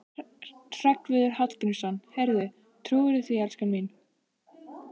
Hreggviður Hallgrímsson: Heyrðu, trúirðu því, elskan mín?